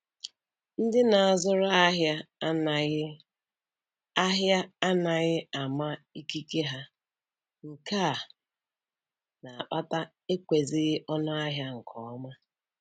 Ndị na-azụrụ ahịa anaghị ahịa anaghị ama ikike ha, nke a na-akpata ekwezighị ọnụ ahịa nke ọma